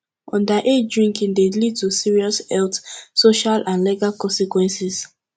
underage drinking dey lead to serious health social and legal consequences